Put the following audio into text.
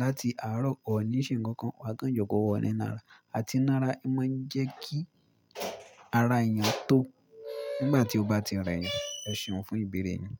láti àárọ̀ kọ́ ní ṣe ńǹkan kan, wà á kàn jókòó oòní nára. Àti náara máa ń jẹ́ kí ara ènìyàn tó nígbà tí ó bá ti rẹ ènìyàn. Ẹ ṣòfò ìbéèrè yẹn.